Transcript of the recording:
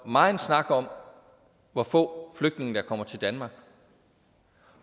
meget snak om hvor få flygtninge der kommer til danmark